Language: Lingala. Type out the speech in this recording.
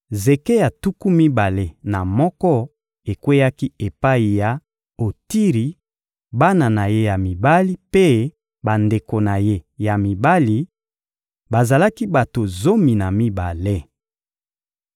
Zeke ya tuku mibale na moko ekweyaki epai ya Otiri, bana na ye ya mibali mpe bandeko na ye ya mibali: bazalaki bato zomi na mibale.